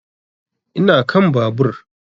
Ina kan babur